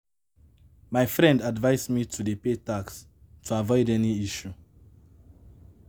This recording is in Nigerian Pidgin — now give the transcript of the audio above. My friend advice me to dey pay tax to avoid any issue